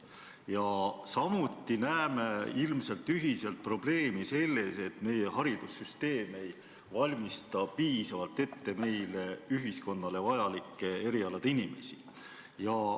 Ja ilmselt me näeme kõik probleemi selles, et meie haridussüsteem ei valmista piisavalt ette ühiskonnale vajalike erialade inimesi.